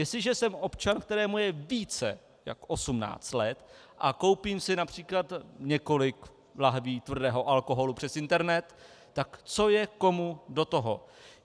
Jestliže jsem občan, kterému je více než 18 let, a koupím si například několik lahví tvrdého alkoholu přes internet, tak co je komu do toho.